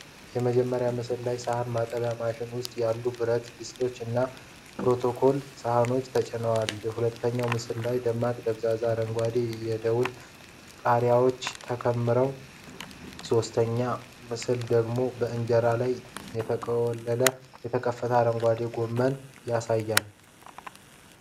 የመጀመሪያው ምስል ላይ ሳህን ማጠቢያ ማሽን ውስጥ የተለያዩ የብረት ድስቶች እና የ porcelain ሳህኖች ተጭነዋል። ሁለተኛው ምስል ላይ ብዙ ደማቅ አረንጓዴ የደወል ቃሪያዎች ተከምረዋል። ሶስተኛው ምስል ደግሞ በእንጀራ ላይ የተቆለለ የተከተፈ አረንጓዴ ጎመን ያሳያል።